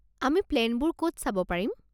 আমি প্লেনবোৰ ক'ত চাব পাৰিম?